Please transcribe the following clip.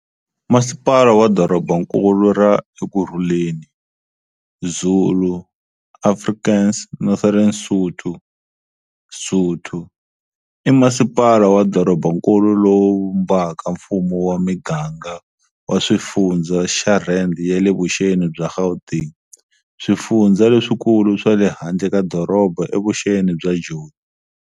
Masipala wa Dorobankulu ra Ekurhuleni, Zulu, Afrikaans, Northern Sotho, Sotho, I Masipala wa Dorobankulu lowu vumbaka mfumo wa miganga wa swifundzha xa rand ya le vuxeni bya Gauteng, swifundzha leswiikulu swa le handle ka doroba evuxeni bya Joni.